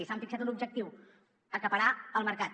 s’han fixat un objectiu acaparar el mercat